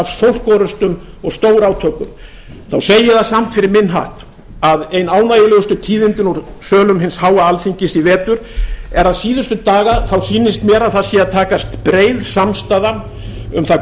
af orrustum og stórátökum segi ég það samt fyrir minn hatt að ein ánægjulegustu tíðindin úr sölum hins háa alþingis í vetur eru að síðustu daga sýnist mér að það sé að takast breið samstaða um það